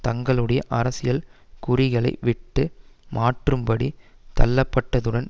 தங்களுடைய அரசியல் குறிகளை விட்டு மாற்றும் படி தள்ளப்பட்டதுடன்